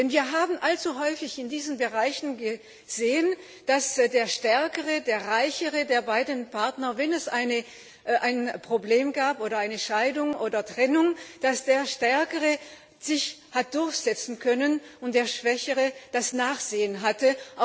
Wir haben allzu häufig in diesen Bereichen gesehen, dass der stärkere, der reichere der beiden Partner wenn es ein Problem gab oder eine Scheidung oder Trennung sich hat durchsetzen können und der schwächere das Nachsehen hatte.